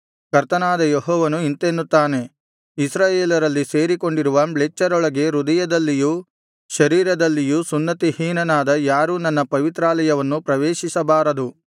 ಕರ್ತನಾದ ಯೆಹೋವನು ಇಂತೆನ್ನುತ್ತಾನೆ ಇಸ್ರಾಯೇಲರಲ್ಲಿ ಸೇರಿಕೊಂಡಿರುವ ಮ್ಲೇಚ್ಛರೊಳಗೆ ಹೃದಯದಲ್ಲಿಯೂ ಶರೀರದಲ್ಲಿಯೂ ಸುನ್ನತಿಹೀನನಾದ ಯಾರೂ ನನ್ನ ಪವಿತ್ರಾಲಯವನ್ನು ಪ್ರವೇಶಿಸಬಾರದು